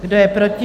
Kdo je proti?